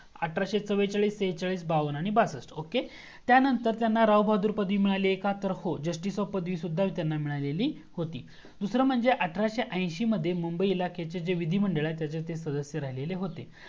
अठराशे चव्वेचाळीस शेच्याळीस आणि बाव्वन, बासष्ट आणि ओके त्यानंतर त्यांना राव बहादूर पदवी मिळाली आणि हो जस्टीस ची पदवी पण त्यांना मिळालेली होती. दूसरा मंजे अठराशे ऐंशी मध्ये ते मुंबई च्या इलाख्याचे विधी मंडल आहे त्याचे सदस्य ते राहिले होते.